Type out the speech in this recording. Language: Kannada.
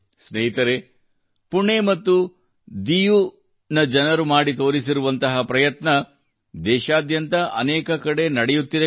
ಸ್ನೇಹಿತರೇ ಪುಣೆ ಮತ್ತು ದೀವ್ ನ ಜನರು ಮಾಡಿ ತೋರಿಸಿರುವಂತಹ ಪ್ರಯತ್ನವು ದೇಶಾದ್ಯಂತ ಅನೇಕ ಕಡೆ ಕೂಡಾ ನಡೆಯುತ್ತಿದೆ